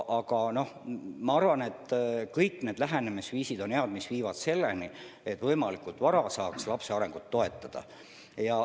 Ent ma arvan, et head on kõik lähenemisviisid, mis viivad selleni, et võimalikult vara saab lapse arengut toetada.